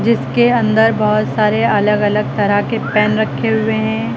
इसके अंदर बहुत सारे अलग अलग तरह के पेन रखे हुए हैं।